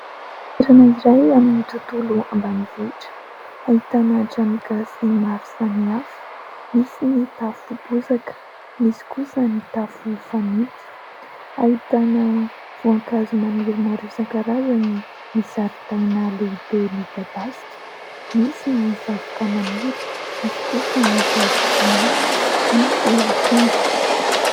Toerana iray amin'ny tontolo ambanivohitra. Ahitana trano gasy maro samihafa, misy ny tafo bozaka, misy kosa ny tafo fanitso. Ahitana voankazo maniry maro isan-karazany ny zaridaina lehibe midadasika, misy ny zavoka maniry, misy kosa ny goavy tsinahy, misy akondro...